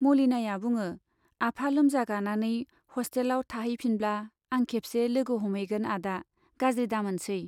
मलिनाया बुङो, आफा लोमजागानानै हस्टेलाव थाहैफिनब्ला आं खेबसे लोगो हमहैगोन आदा, गाज्रि दामोनसै।